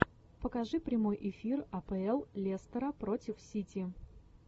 покажи прямой эфир апл лестера против сити